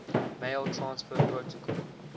mail transfer protocol